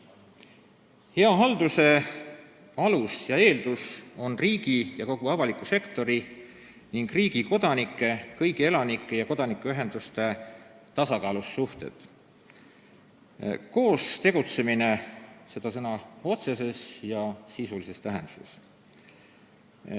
Hea halduse alus ja eeldus on riigi ja kogu avaliku sektori ning riigi kodanike, kõigi elanike ja kodanikuühenduste tasakaalus suhted, koos tegutsemine sõna otseses ja sisulises tähenduses.